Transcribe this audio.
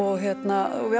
við